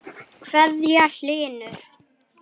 kveðja, Hlynur.